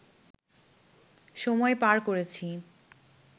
সময় পার করেছি